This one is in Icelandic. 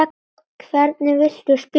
Hvernig viltu spila?